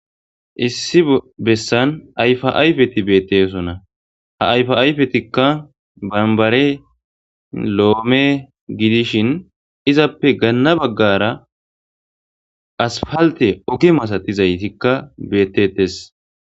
Issi besan ayfa ayfeti beetosona ha ayfa ayfetika bambare, loome gidishin izape gana bagara asfalte oge masatizayka beetetes.